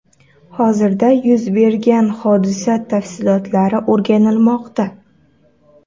Hozirda yuz bergan hodisa tafsilotlari o‘rganilmoqda.